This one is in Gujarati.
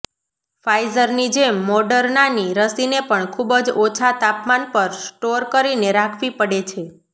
ફાઇઝરની જેમ મોડર્નાની રસીને પણ ખૂબ જ ઓછા તાપમાન પર સ્ટોર કરીને રાખવી પડે છે